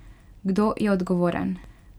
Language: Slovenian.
Kdo je odgovoren?